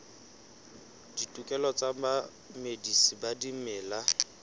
ditokelo tsa bamedisi ba dimela